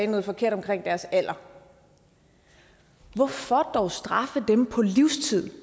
noget forkert om deres alder hvorfor dog straffe dem på livstid